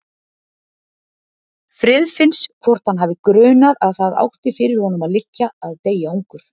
Friðfinns hvort hann hafi grunað að það átti fyrir honum að liggja að deyja ungur.